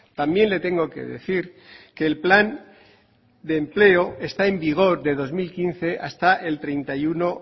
también le tengo que decir que el plan de empleo está en vigor de dos mil quince hasta el treinta y uno